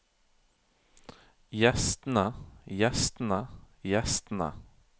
gjestene gjestene gjestene